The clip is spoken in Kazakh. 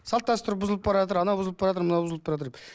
салт дәстүр бұзылып анау бұзылып мынау бұзылып деп